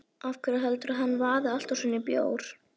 Af hverju heldurðu að hann vaði alltaf svona í bjór?